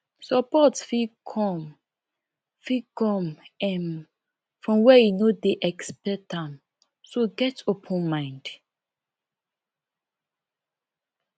support fit come fit come um from where you no dey expect am so get open mind